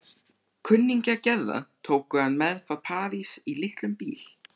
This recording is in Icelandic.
Kunningjar Gerðar tóku hann með frá París í litlum bíl.